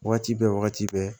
Wagati bɛɛ wagati bɛɛ